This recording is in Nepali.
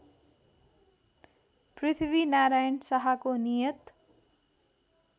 पृथ्वीनारायण शाहको नियत